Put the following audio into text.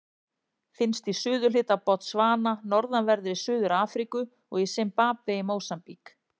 Finnst í suðurhluta Botsvana, norðanverðri Suður-Afríku og í Simbabve og Mósambík.